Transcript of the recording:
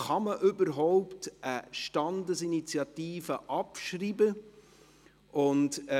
Kann man eine Standesinitiative überhaupt abschreiben?